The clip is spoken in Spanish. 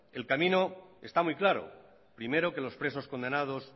el camino está muy claro primero que los presos condenados